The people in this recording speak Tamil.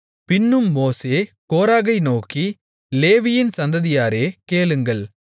பின்னும் மோசே கோராகை நோக்கி லேவியின் சந்ததியாரே கேளுங்கள்